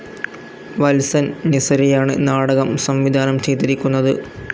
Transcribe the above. വത്സൻ നിസരിയാണ് നാടകം സംവിധാനം ചെയ്തിരിക്കുന്നത്.